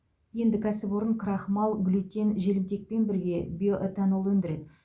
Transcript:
енді кәсіпорын крахмал глютен желімтекпен бірге биоэтанол өндіреді